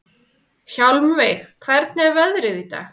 Hjálmveig, hvernig er veðrið í dag?